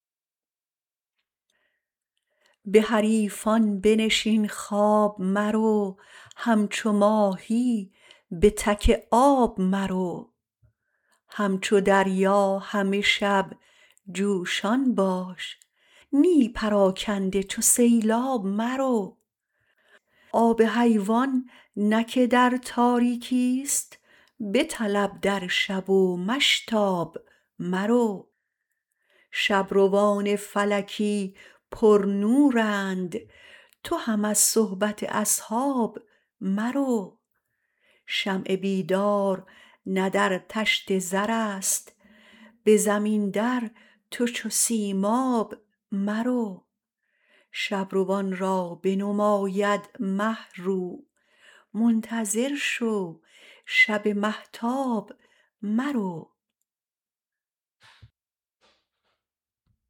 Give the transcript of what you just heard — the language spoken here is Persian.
به حریفان بنشین خواب مرو همچو ماهی به تک آب مرو همچو دریا همه شب جوشان باش نی پراکنده چو سیلاب مرو آب حیوان نه که در تاریکی است بطلب در شب و مشتاب مرو شب روان فلکی پرنورند تو هم از صحبت اصحاب مرو شمع بیدار نه در طشت زر است به زمین در تو چو سیماب مرو شب روان را بنماید مه رو منتظر شو شب مهتاب مرو